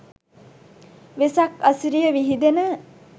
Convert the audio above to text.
වෙසක් අසිරිය විහිදෙන